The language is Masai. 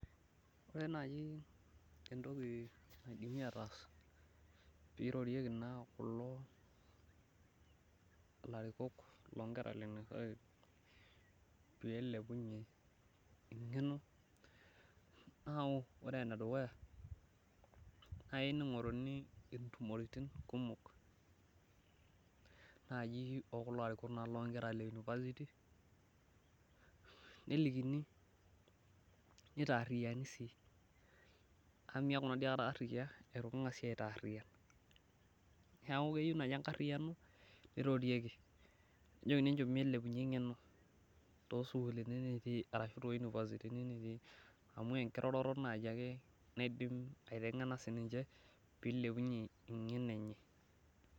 Ore naaji entoki naidim ataas pee eirorieki larikok looker le university pee eilepunye engeno, naa ore endukuya naa keyieu neingoruni entumo oltunganak kumok naaji ookulo arikok loonkera e university nelikini ,nitaariyani sii amu niyaku naadi aikata aria eitu kingasi aitaariyian. Neeku keyieu naaji enkariano neirorieki nejokini enchom elepunyie engeno toosukulini nitii arashu too university nitii. Amu enkiroroto naaji ake nidim aitengena siininche pee eilepunyie engeno enye.